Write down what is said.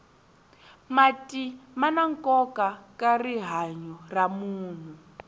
mati mana nkoka ka rihanya ra munhu